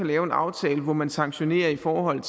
lave en aftale hvor man sanktionerer i forhold